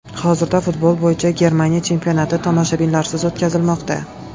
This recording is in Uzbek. Hozirda futbol bo‘yicha Germaniya chempionati tomoshabinlarsiz o‘tkazilmoqda.